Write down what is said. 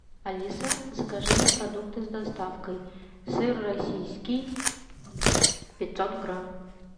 алиса закажи мне продукты с доставкой сыр российский пятьсот грамм